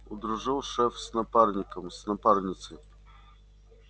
удружил шеф с напарником с напарницей